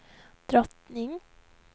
drottning